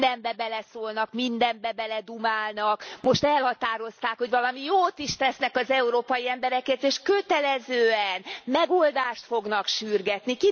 Mindenbe beleszólnak, mindenbe beledumálnak, most elhatározták, hogy valami jót is tesznek az európai emberekért és kötelezően megoldást fognak sürgetni.